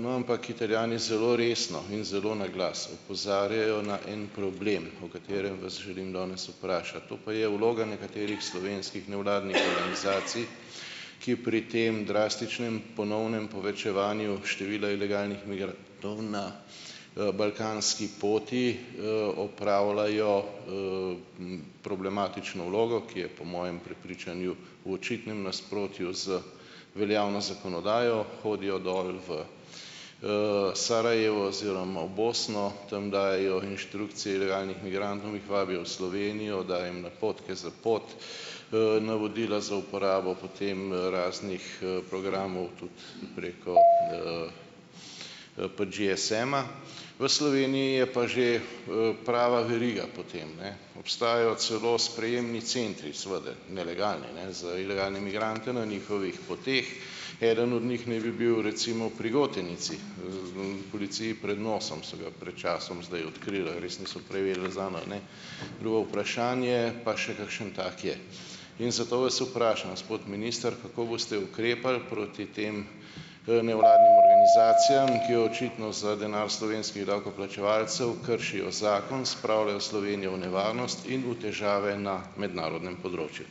no, ampak, Italijani zelo resno in zelo naglas opozarjajo na en problem, o katerem vas želim danes vprašati, to pa je vloga nekaterih slovenskih nevladnih organizacij, ki pri tem drastičnem ponovnem povečevanju števila ilegalnih, balkanski poti, opravljajo problematično vlogo, ki je po mojem prepričanju v očitnem nasprotju z veljavno zakonodajo. Hodijo dol v Sarajevo oziroma v Bosno, tam dajejo inštrukcije ilegalnim migrantom, jih vabijo v Slovenijo, dajo jim napotke za pot, navodila za uporabo, potem raznih, programov, tudi preko GSM-a. V Sloveniji je pa že, prava veriga potem, ne? Obstajajo celo sprejemni centri, seveda nelegalni, ne, za ilegalne migrante na njihovih poteh. Eden od njih naj bi bil recimo pri Gotenici. Policiji pred nosom, so ga pred časom zdaj odkrili. Ali res niso prej vedeli zanj ali ne, drugo vprašanje, pa še kakšen tak je. In zato vas vprašam, gospod minister, kako boste ukrepali proti tem, nevladnim organizacijam, ki očitno za denar slovenskih davkoplačevalcev kršijo zakon, spravljajo Slovenijo v nevarnost in v težave na mednarodnem področju?